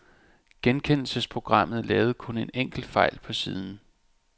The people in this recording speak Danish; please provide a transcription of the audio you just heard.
Genkendelsesprogrammet lavede kun en enkelt fejl på siden.